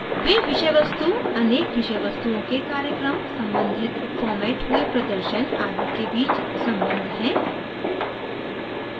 वे विषय वस्तु अनेक विषय वस्तुओं के कार्यक्रम सम्बंधित formatted हुए प्रदर्शन आदि के बीच सम्बन्ध हैं